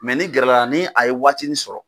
ni gɛrɛla la ni a ye waati nin sɔrɔ.